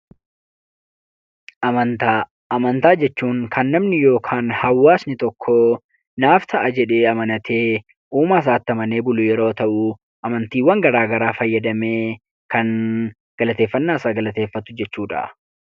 Amantaa. Amantaa jechuun kan namni yookaan hawaasni tokko "naaf ta'a" jedhee amanatee, uumaa isaatti amanee bulu yeroo ta'u, amantiiwwan garaagaraa fayyadamee kan galateeffannaasaa galateeffatu jechuu dha.